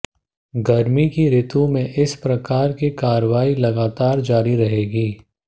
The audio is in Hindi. गर्मी की ऋतु में इस प्रकार की कार्रवाई लगातार जारी रहेगी